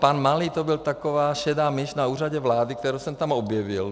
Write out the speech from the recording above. Pan Malý, to byla taková šedá myš na Úřadu vlády, kterou jsem tam objevil.